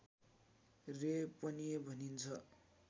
रे पनि भनिन्छ